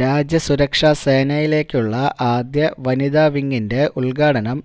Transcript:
രാജ്യ സുരക്ഷാ സേനയിലേക്കുള്ള ആദ്യ വനിതാ വിങിന്റെ ഉദ്ഘാടനം